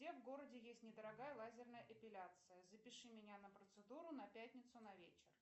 где в городе есть недорогая лазерная эпиляция запиши меня на процедуру на пятницу на вечер